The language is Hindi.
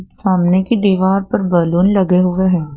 सामने की दीवार पर बैलून लगे हुए हैं।